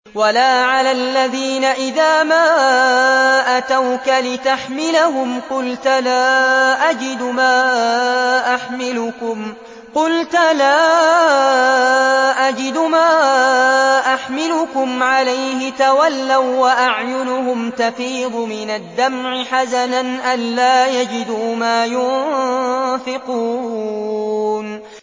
وَلَا عَلَى الَّذِينَ إِذَا مَا أَتَوْكَ لِتَحْمِلَهُمْ قُلْتَ لَا أَجِدُ مَا أَحْمِلُكُمْ عَلَيْهِ تَوَلَّوا وَّأَعْيُنُهُمْ تَفِيضُ مِنَ الدَّمْعِ حَزَنًا أَلَّا يَجِدُوا مَا يُنفِقُونَ